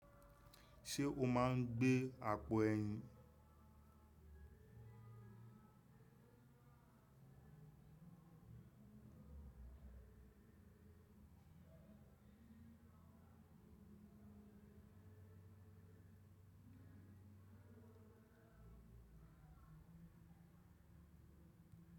Ṣé o máa ń gbé àpò ẹyin?